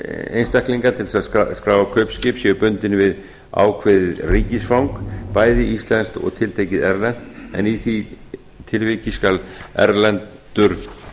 einstaklinga til þess að skrá kaupskip séu bundin við ákveðið ríkisfang bæði íslensk og tiltekið erlent en í því tilviki skal erlendur